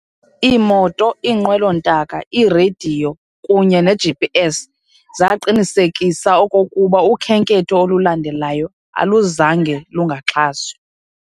Ii-Moto, iiNqwelo-ntaka, ii-Radiyo, kunye ne-GPS zaqinisekisa okokuba ukhenketho olulandelayo aluzange "lungaxhaswa".